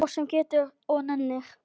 Fólk sem getur og nennir.